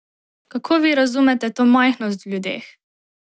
Kako vi razumete to majhnost v ljudeh?